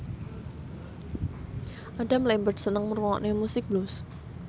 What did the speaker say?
Adam Lambert seneng ngrungokne musik blues